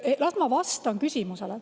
Las ma vastan küsimusele.